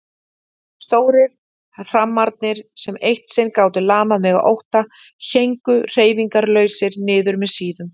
Stórir hrammarnir sem eitt sinn gátu lamað mig af ótta héngu hreyfingarlausir niður með síðum.